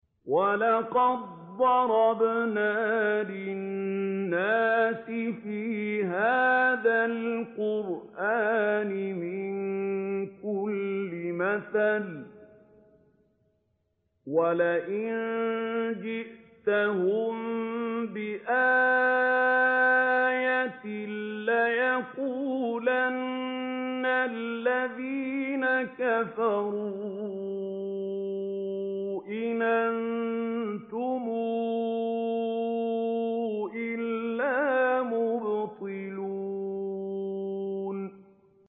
وَلَقَدْ ضَرَبْنَا لِلنَّاسِ فِي هَٰذَا الْقُرْآنِ مِن كُلِّ مَثَلٍ ۚ وَلَئِن جِئْتَهُم بِآيَةٍ لَّيَقُولَنَّ الَّذِينَ كَفَرُوا إِنْ أَنتُمْ إِلَّا مُبْطِلُونَ